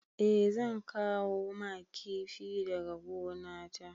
Eh zan kawo ma kifi daga gonata.